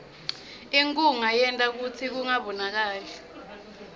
inkhunga yenta kutsi kungabonakali